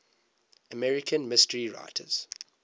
american mystery writers